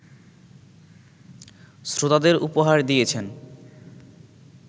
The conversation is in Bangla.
শ্রোতাদের উপহার দিয়েছেন